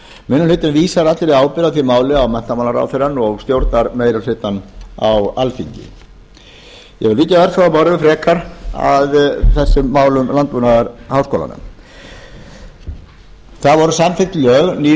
minni hlutinn vísar allri ábyrgð á því máli á menntamálaráðuneytið og stjórnarmeirihlutann á alþingi ég vil víkja örfáum orðum frekar að þessum málum landbúnaðarháskólanna það voru samþykkt ný lög um landbúnaðarháskóla bæði um hólaskóla og landbúnaðarháskóla íslands og var